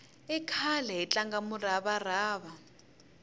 i khale hi tlanga murava rava